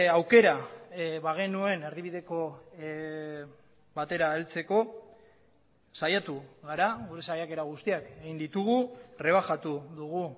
aukera bagenuen erdibideko batera heltzeko saiatu gara gure saiakera guztiak egin ditugu rebajatu dugu